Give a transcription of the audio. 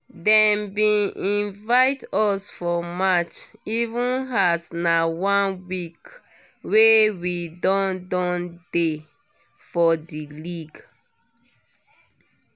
dem bin invite us for match even as na just one week wey we don don dey for di league